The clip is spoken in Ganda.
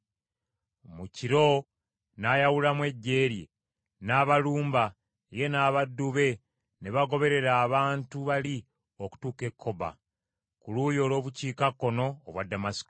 Mu kiro n’ayawulamu eggye lye, n’abalumba, ye n’abaddu be ne bagoberera abantu bali okutuuka e Kkoba, ku luuyi olw’obukiikakkono obwa Damasiko.